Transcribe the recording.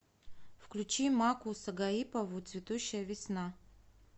включи макку сагаипову цветущая весна